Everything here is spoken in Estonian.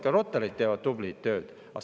Ka Rotaryd teevad tublit tööd.